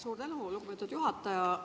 Suur tänu, lugupeetud juhataja!